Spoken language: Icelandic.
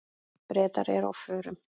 Bretar eru á förum.